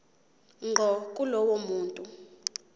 ngqo kulowo muntu